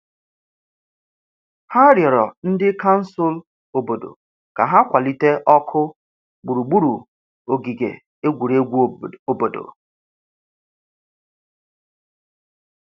Ha rịọrọ ndị kansụl obodo ka ha kwalite ọkụ gburugburu ogige egwuregwu obodo.